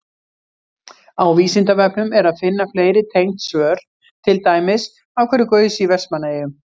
Á Vísindavefnum er að finna fleiri tengd svör, til dæmis: Af hverju gaus í Vestmannaeyjum?